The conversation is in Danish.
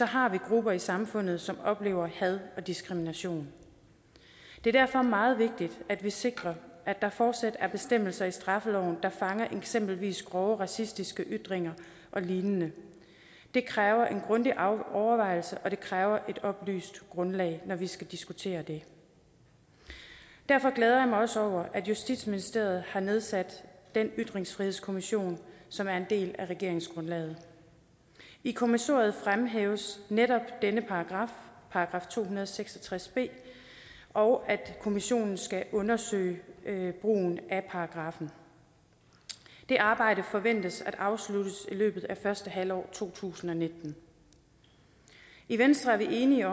har vi grupper i samfundet som oplever had og diskrimination det er derfor meget vigtigt at vi sikrer at der fortsat er bestemmelser i straffeloven der fanger eksempelvis grove racistiske ytringer og lignende det kræver en grundig overvejelse og det kræver et oplyst grundlag når vi skal diskutere det derfor glæder jeg mig også over at justitsministeriet har nedsat den ytringsfrihedskommission som er en del af regeringsgrundlaget i kommissoriet fremhæves netop denne paragraf § to hundrede og seks og tres b og at kommissionen skal undersøge brugen af paragraffen det arbejde forventes afsluttet i løbet af første halvår to tusind og nitten i venstre er vi enige